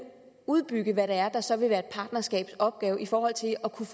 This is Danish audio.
udbygge hvad det er der så vil være et partnerskabs opgave i forhold til at kunne